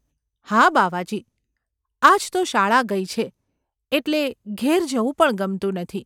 ‘હા, બાવાજી ! આજ તો શાળા ગઈ છે એટલે ઘેર જવું પણ ગમતું નથી.